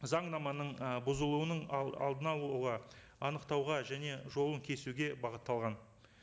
заңнаманың ы бұзылуының алдын алуға анықтауға және жолын кесуге бағытталған